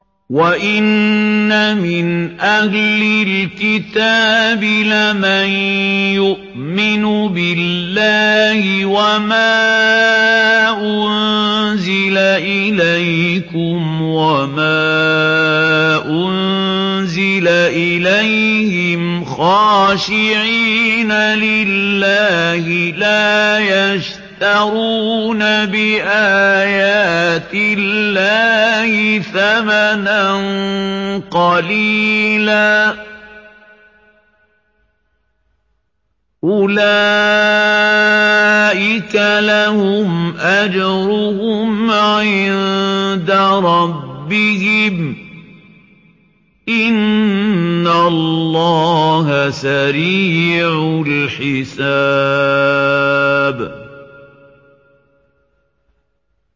وَإِنَّ مِنْ أَهْلِ الْكِتَابِ لَمَن يُؤْمِنُ بِاللَّهِ وَمَا أُنزِلَ إِلَيْكُمْ وَمَا أُنزِلَ إِلَيْهِمْ خَاشِعِينَ لِلَّهِ لَا يَشْتَرُونَ بِآيَاتِ اللَّهِ ثَمَنًا قَلِيلًا ۗ أُولَٰئِكَ لَهُمْ أَجْرُهُمْ عِندَ رَبِّهِمْ ۗ إِنَّ اللَّهَ سَرِيعُ الْحِسَابِ